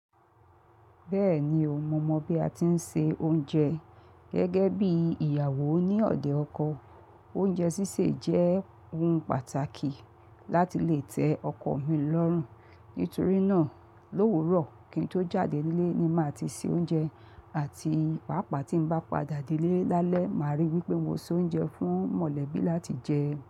Bẹ́ẹ̀ni, ò mọ̀ mọ̀ bí a ti ń se oúnjẹ gẹ́gẹ́ bí ìyàwó ní ọ̀dẹ̀ ọkọ. Oúnjẹ sísè jẹ́ ohun pàtàkì láti lè tẹ́ ọkọ mi lọ́rùn. Nítorí náà, lówurọ̀ kí n tó jáde nílé ni màá ti se oúnjẹ àti pàápàá tí n bá pade nílé lálẹ́, màá ríi wípé mo se oúnjẹ fún mọ̀lẹ́bí láti jẹ.